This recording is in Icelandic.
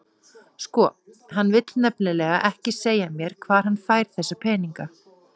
Sko, hann vill nefnilega ekki segja mér hvar hann fær þessa peninga.